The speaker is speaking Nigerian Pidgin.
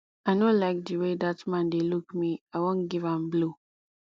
i no like the way dat man dey look me i wan give am blow